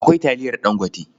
Akwai taliyar Dangote.